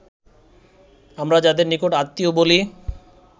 আমরা যাদের নিকট-আত্মীয় বলি